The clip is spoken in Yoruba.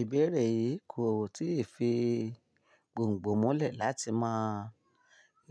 Ìbéèrè yìí kò tíì fi gbòngbò mulẹ̀ láti mọ